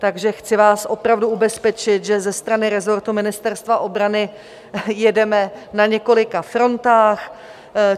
Takže chci vás opravdu ubezpečit, že ze strany resortu Ministerstva obrany jedeme na několika frontách.